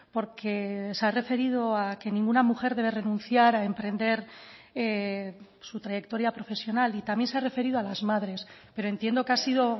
porque se ha referido a que ninguna mujer debe renunciar a emprender su trayectoria profesional y también se ha referido a las madres pero entiendo que ha sido